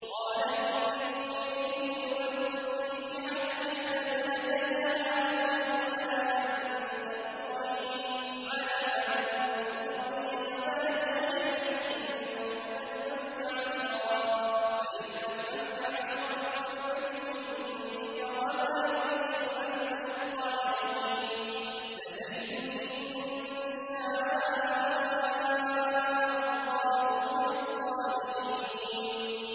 قَالَ إِنِّي أُرِيدُ أَنْ أُنكِحَكَ إِحْدَى ابْنَتَيَّ هَاتَيْنِ عَلَىٰ أَن تَأْجُرَنِي ثَمَانِيَ حِجَجٍ ۖ فَإِنْ أَتْمَمْتَ عَشْرًا فَمِنْ عِندِكَ ۖ وَمَا أُرِيدُ أَنْ أَشُقَّ عَلَيْكَ ۚ سَتَجِدُنِي إِن شَاءَ اللَّهُ مِنَ الصَّالِحِينَ